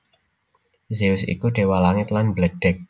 Zeus iku déwa langit lan bledhèg